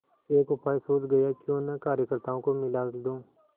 एक उपाय सूझ गयाक्यों न कार्यकर्त्ताओं को मिला लूँ